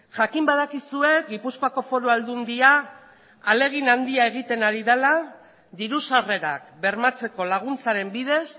jakin badakizue gipuzkoako foru aldundia ahalegin handia egiten ari dela diru sarrerak bermatzeko laguntzaren bidez